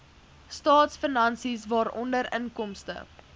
staatsfinansies waaronder inkomste